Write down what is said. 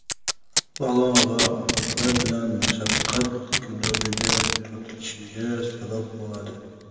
balo va ofatlar bilan mashaqqat girdobiga tortilishiga sabab bo‘ladi.